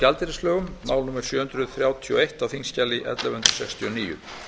eitt á þingskjali ellefu hundruð sextíu og níu